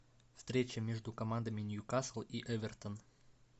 встреча между командами ньюкасл и эвертон